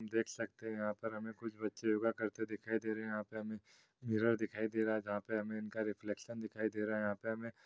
देख सकते हैं आप यहाँ पर हमें कुछ बच्चे योगा करते दिखाई दे रहे हैं यहाँ पे हमें मिर्रोर दिखाई दे रहा हैजहाँ पे हमे इनका रिफ्लैक्शन दिखाई दे रहा है यहाँ पे हमे--